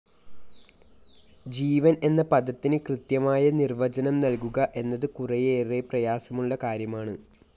ജീവൻ എന്ന പദത്തിന് കൃത്യമായ നിർവ്വചനം നൽകുക എന്നത് കുറെയേറെ പ്രയാസമുള്ള കാര്യമാണ്.